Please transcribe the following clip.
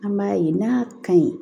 An b'a ye n'a ka ɲi